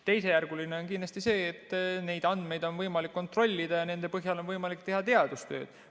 Teisejärguline on kindlasti see, et neid andmeid on võimalik kontrollida ja nende põhjal on võimalik teha teadustööd.